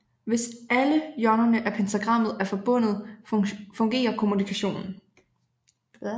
Hvis alle hjørnerne af pentagrammet er forbundet fungerer kommunikationen